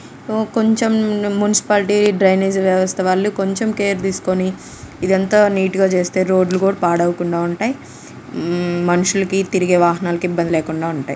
ఓ కొంచం ముం- municipality drainage వ్యవస్తావాలు కొంచం కేర్ తీసుకొని ఇదంతా నిట్ గా చేస్తే రోడ్ లు కూడా పాడు అవ్వకుండా ఉంటాయి ఉమ్ మనుషులు కి తిరిగే వాహనాలకి ఇబ్బంది లేకుండా ఉంటాయి.